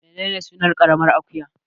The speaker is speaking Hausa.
Menene sunan ƙaramar akuya